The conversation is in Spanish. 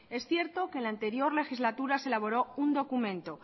es cierto que en la anterior legislatura se elaboró un documento